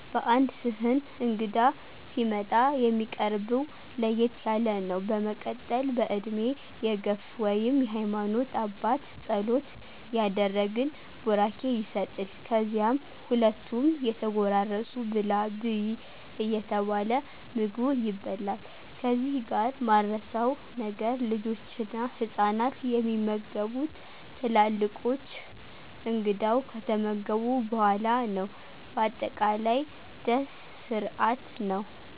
በአንድ ስህን እንግዳ ሲመጣ የሚቀርብው ለየት ያለ ነው በመቀጠል በእድሜ የግፍ ወይም የሃማኖት አባት ፀሎት ያደረግን ቡራኬ ይሰጥል ከዚያም ሁሉም እየተጎራረሱ ብላ/ብይ እየተባለ ምግቡ ይበላል ከዚህ ጋር ማረሳው ነገር ልጆችና ህፃናት የሚመገቡት ትላልቆች / እንግዳው ከተመገቡ በኋላ ነው በአጠቃላይ ደስ ስርአት ነው።